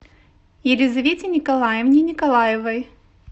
елизавете николаевне николаевой